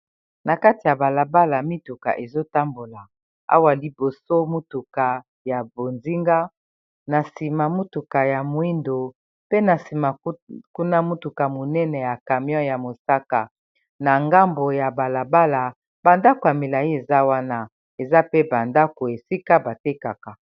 na kati ya balabala mituka ezotambola awa liboso motuka ya bozinga na nsima motuka ya moindo pe na nsima kuna motuka monene ya camion ya mosaka na ngambo ya balabala bandako ya milai eza wana eza pe bandako esika batekaka